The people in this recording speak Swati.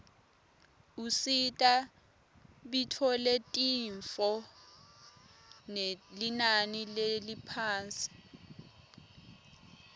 usita bitfoletinifo ngelinani leliphasi